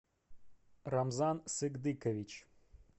рамзан сыгдыкович